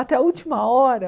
Até a última hora.